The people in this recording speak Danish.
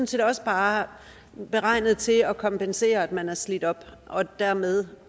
set også bare beregnet til at kompensere for at man er slidt op og dermed